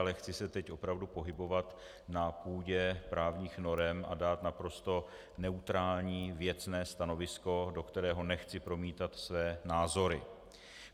Ale chci se teď opravdu pohybovat na půdě právních norem a dát naprosto neutrální věcné stanovisko, do kterého nechci promítat své názory.